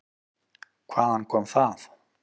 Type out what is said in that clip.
Hvaðan kom það?